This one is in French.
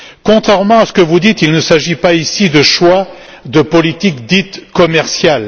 Contrairement à ce que vous dites, il ne s'agit pas ici de choix de politique dite commerciale.